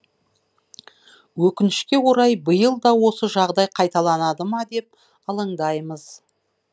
өкінішке орай биыл да осы жағдай қайталанады ма деп алаңдаймыз